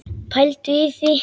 Pældu í því.